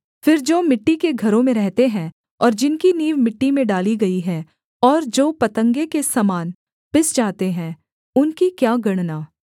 फिर जो मिट्टी के घरों में रहते हैं और जिनकी नींव मिट्टी में डाली गई है और जो पतंगे के समान पिस जाते हैं उनकी क्या गणना